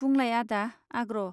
बुंलाय आदा आग्रह.